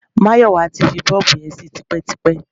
Máyọ̀wá ti fi bọ́ọ̀bù yẹn sí tipẹ́tipẹ́.